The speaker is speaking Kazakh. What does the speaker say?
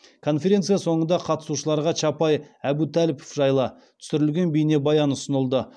конференция соңында қатысушыларға чапай әбутәліпов жайлы түсірілген бейнебаян ұсынылды